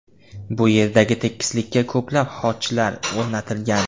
Bu yerdagi tekislikka ko‘plab xochlar o‘rnatilgan.